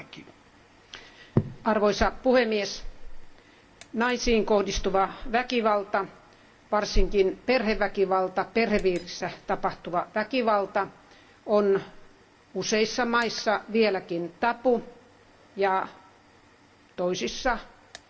Arvoisa puhemies, naisiin kohdistuva väkivalta, varsinkin perheväkivalta, perhepiirissä tapahtuva väkivalta, on useissa maissa vieläkin tabu ja toisissa, useimmissa maissa